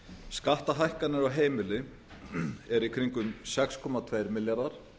skattahækkanir á heimili eru í kringum sex komma tveir milljarðar